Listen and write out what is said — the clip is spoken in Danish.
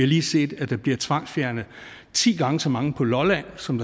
lige set at der bliver tvangsfjernet ti gange så mange på lolland som